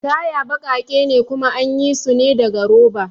Taya baƙake ne kuma anyi sune daga roba